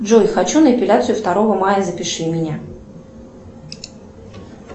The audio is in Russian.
джой хочу на эпиляцию второго мая запиши меня